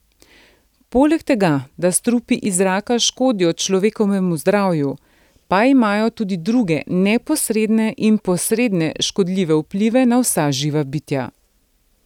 Poleg tega, da strupi iz zraka škodijo človekovemu zdravju, pa imajo tudi druge neposredne in posredne škodljive vplive na vsa živa bitja.